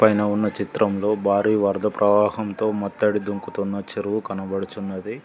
పైన ఉన్న చిత్రంలో భారీ వరద ప్రవాహంతో మొత్తడి దుంకుతున్న చెరువు కనబడుచున్నది.